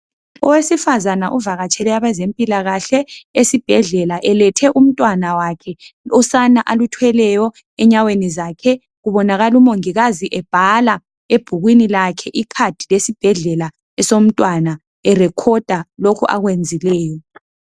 Owesifazana uvakatshele abezempilakahle esibhedlela elethe umntwana wakhe, usana aluthweleyo enyaweni zakhe. Kubonakala umongikazi ebhala ebhukwini lakhe, ikhadi lesibhedlela esomntwana, erekhoda lokh' akwenzileyo.